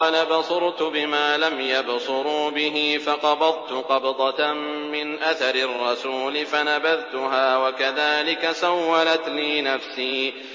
قَالَ بَصُرْتُ بِمَا لَمْ يَبْصُرُوا بِهِ فَقَبَضْتُ قَبْضَةً مِّنْ أَثَرِ الرَّسُولِ فَنَبَذْتُهَا وَكَذَٰلِكَ سَوَّلَتْ لِي نَفْسِي